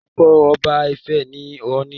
Orúkọ ọba ifẹ̀ ni ọọ̀ni